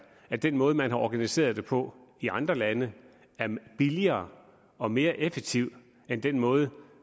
at den måde man har organiseret det på i andre lande er billigere og mere effektiv end den måde